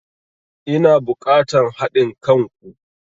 Ina bukatan hadin kan ku.